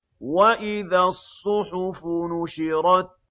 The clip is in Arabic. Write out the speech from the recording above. وَإِذَا الصُّحُفُ نُشِرَتْ